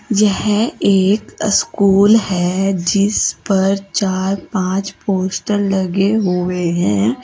यह एक स्कूल है जिस पर चार पांच पोस्टर लगे हुए हैं।